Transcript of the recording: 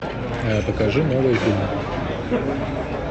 покажи новые фильмы